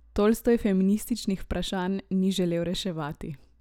Tolstoj feminističnih vprašanj ni želel reševati.